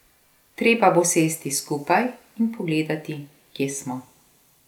Treba bo sesti skupaj in pogledati, kje smo.